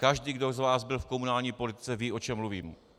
Každý z vás, kdo byl v komunální politice, ví, o čem mluvím.